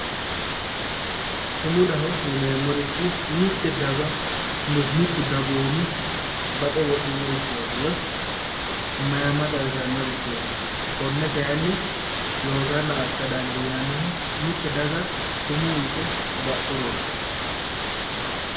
Sumudaho yineemorichi mitte daga mittu dagoomi baxe wodhino richooti woy mayimma xawisanno richooti konne kayinni loosanna assa danidiinannihu mitte daga sumuu yite baxxurooti